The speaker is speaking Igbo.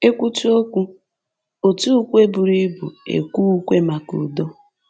E kwutu okwu, òtù ukwe buru ibu ekwee ukwe maka udo